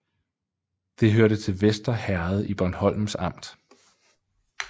Det hørte til Vester Herred i Bornholms Amt